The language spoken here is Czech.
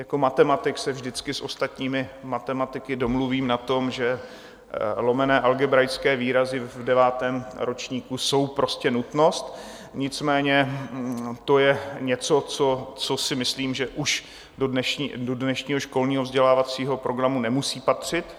Jako matematik se vždycky s ostatními matematiky domluvím na tom, že lomené algebraické výrazy v devátém ročníku jsou prostě nutnost, nicméně to je něco, co si myslím, že už do dnešního školního vzdělávacího programu nemusí patřit.